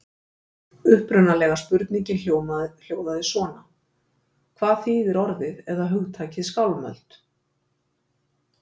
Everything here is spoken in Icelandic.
Upprunalega spurningin hljóðaði svona: Hvað þýðir orðið eða hugtakið skálmöld?